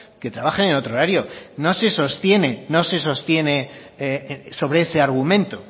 que trabajen en otro horario no se sostiene sobre ese argumento